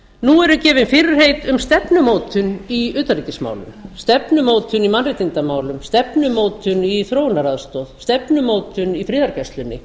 nú eru gefin fyrirheit um stefnumótun í utanríkismálum stefnumótun í mannréttindamálum stefnumótun í þróunaraðstoð stefnumótun í friðargæslunni